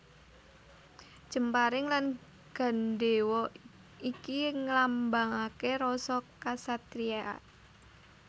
Jemparing lan gandhéwa iki nglambangaké rasa kasatriyan